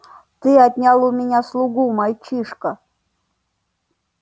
ты отнял у меня слугу мальчишка